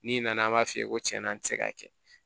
N'i nana an b'a f'i ye ko cɛn na n ti se k'a kɛ